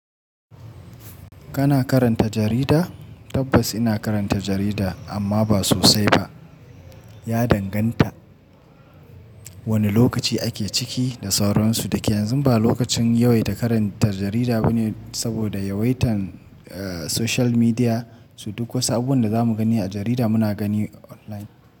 Kana karanta jarida? Tabbas ina karanta jarida amma ba sosai ba. Ya danganta wani lokaci ake ciki da sauransu. Dake yanzu ba lokacin yawaita karanta jarida bane saboda yawaitan social media. So duk wasu abubuwan da za mu gani a jarida muna gani online.